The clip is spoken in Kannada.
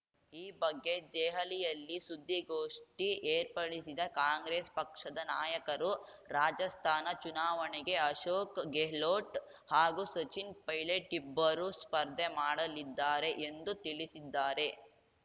ಈ ಬಗ್ಗೆ ದೆಹಲಿಯಲ್ಲಿ ಸುದ್ದಿಗೋಷ್ಠಿ ಏರ್ಪಡಿಸಿದ ಕಾಂಗ್ರೆಸ್‌ ಪಕ್ಷದ ನಾಯಕರು ರಾಜಸ್ಥಾನ ಚುನಾವಣೆಗೆ ಅಶೋಕ್‌ ಗೆಹ್ಲೋಟ್‌ ಹಾಗೂ ಸಚಿನ್‌ ಪೈಲಟ್‌ ಇಬ್ಬರೂ ಸ್ಪರ್ಧೆ ಮಾಡಲಿದ್ದಾರೆ ಎಂದು ತಿಳಿಸಿದ್ದಾರೆ